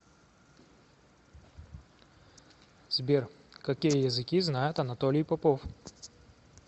сбер какие языки знает анатолий попов